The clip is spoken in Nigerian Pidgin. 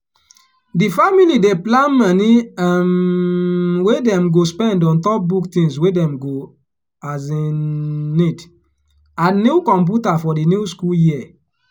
di family dey plan moni um wey dem dem go spend on top book things wey dem go um nid and new computa for di new school year.